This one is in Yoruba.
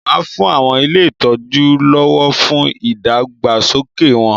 Màá fún àwọn ilé ìtọ́ju lọ́wọ́ fún ìdàgbàsókè wọn.